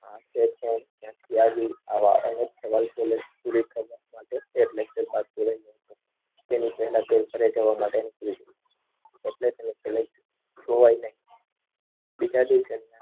આજે ક્યાંથી આવી આવા તેની પહેલા તે ઘરે જવા માટે નીકળી ગયો.